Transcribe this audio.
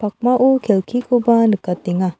pakmao kelkikoba nikatenga.